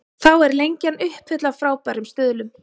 Þá er Lengjan uppfull af frábærum stuðlum.